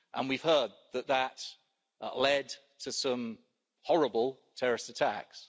We've heard that that led to some horrible terrorist attacks.